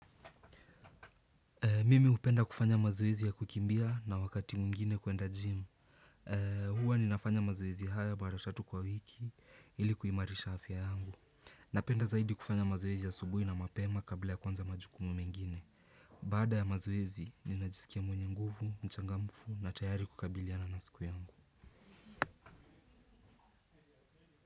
Mimi hupenda kufanya mazoezi ya kukimbia na wakati mwingine kuenda gym. Huwa ninafanya mazoezi hayo mara tatu kwa wiki ili kuimarisha afya yangu. Napenda zaidi kufanya mazoezi asubuhi na mapema kabla ya kuanza majukumu mengine. Baada ya mazoezi ninajisikia mwenye nguvu, mchangamfu na tayari kukabiliana na siku yangu.